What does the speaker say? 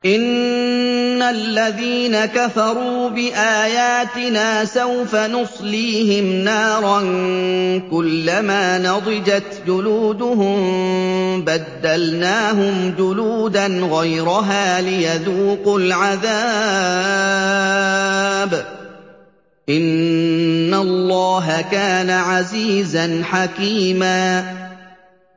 إِنَّ الَّذِينَ كَفَرُوا بِآيَاتِنَا سَوْفَ نُصْلِيهِمْ نَارًا كُلَّمَا نَضِجَتْ جُلُودُهُم بَدَّلْنَاهُمْ جُلُودًا غَيْرَهَا لِيَذُوقُوا الْعَذَابَ ۗ إِنَّ اللَّهَ كَانَ عَزِيزًا حَكِيمًا